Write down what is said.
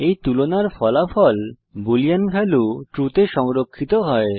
এই তুলনার ফলাফল বুলিন ভ্যালিউ ট্রু তে সংরক্ষিত হয়